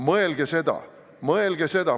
Mõelge sellele!